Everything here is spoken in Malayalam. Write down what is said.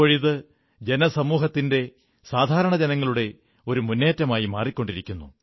ഇപ്പോഴിത് ജനസമൂഹത്തിന്റെ സാധാരണ ജനങ്ങളുടെ ഒരു മുന്നേറ്റമായി മാറിക്കൊണ്ടിരിക്കുന്നു